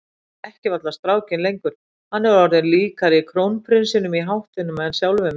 Ég þekki varla strákinn lengur, hann er orðinn líkari krónprinsinum í háttum en sjálfum mér.